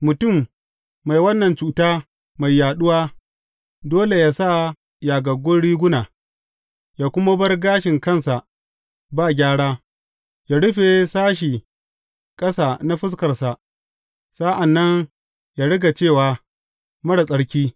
Mutum mai wannan cuta mai yaɗuwa dole yă sa yagaggun riguna, yă kuma bar gashin kansa ba gyara, yă rufe sashe ƙasa na fuskarsa, sa’an nan yă riga cewa, Marar tsarki!